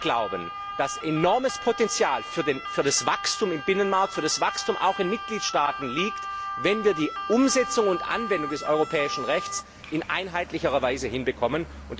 Wir glauben, dass enormes Potenzial für das Wachstum im Binnenmarkt und auch in den Mitgliedstaaten liegt, wenn wir die Umsetzung und Anwendung des europäischen Rechts in einheitlicherer Weise hinbekommen.